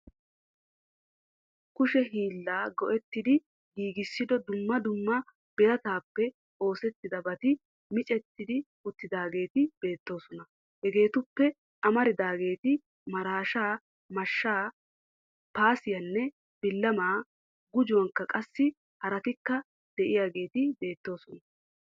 Kushe hilla go'ettidi giigissido dumma dumma birataappe oosettidabati micetti uttidaageeti beettoosona hegeetuppe amaridaageeti marashaa, mashshaa, paasiyanne billamaa gujuwankka qassi haraatikka de'iyageeti beettoosona.